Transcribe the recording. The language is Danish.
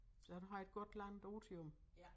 Så du har et godt langt otium